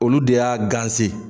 Olu de y'a ganse